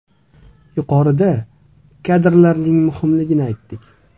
Yuqorida kadrlarning muhimligini aytdik.